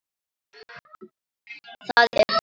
Það er búið.